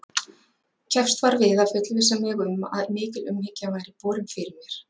Keppst var við að fullvissa mig um að mikil umhyggja væri borin fyrir mér.